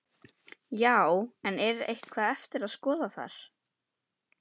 Já, en er eitthvað eftir að skoða þar?